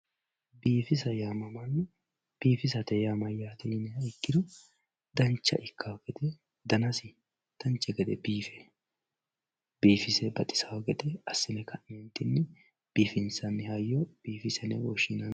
biifisa yaamamanno. biifisate yaa mayyaate yiniha ikkiro dancha ikkawoo gede danasi dancha gede biife biifise baxisaa gede assine ka'neentinni biifisate hayyo biifisa yine woshshinanni.